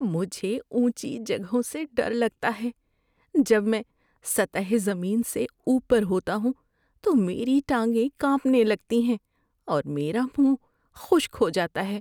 مجھے اونچی جگہوں سے ڈر لگتا ہے۔ جب میں سطح زمین سے اوپر ہوتا ہوں تو میری ٹانگیں کانپنے لگتی ہیں اور میرا منہ خشک ہو جاتا ہے۔